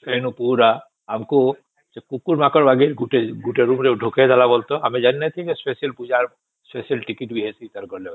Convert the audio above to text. ଵେନୁ ପୁରା ଆମକୁ ସେ କୁକୁର ମାଙ୍କଡ ଭଳିଆ ଗୋଟେ ରୁମ ରେ ଢୁକେଇ ଦେଲା ଆମେ ଜାଣି ନଥିଲେ special ପୂଜା ର ସ୍ପେସିଆଲ ଟିକେଟ ବି ଅଛି